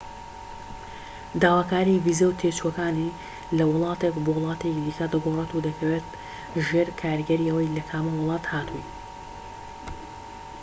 داواکاری ڤیزە و تێچووەکان لە وڵاتێک بۆ وڵاتێکی دیکە دەگۆڕێت و دەکەوێت ژێر کاریگەری ئەوەی لە کامە وڵاتە هاتوویت